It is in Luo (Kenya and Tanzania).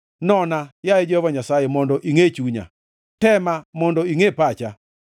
Nona, yaye Jehova Nyasaye, mondo ingʼe chunya; tema, mondo ingʼe pacha.